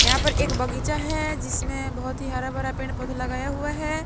यहां पर एक बगीचा है जिसमें बहुत ही हरा भरा पेड़ पौधा लगाया हुआ है।